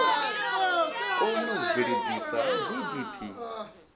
kone u bveledzisa na gdp